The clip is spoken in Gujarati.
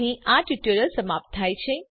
અહીં આ ટ્યુટોરીયલ સમાપ્ત થાય છે